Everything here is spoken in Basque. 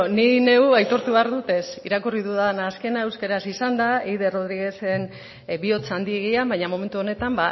ni neu aitortu behar dut ezetz irakurri dudan azkena euskaraz izan da eider rodriguezen bihotz handiegia baina momentu honetan